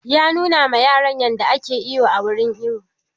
Ya nuna ma yaran yadda ake iwo a wurin iwo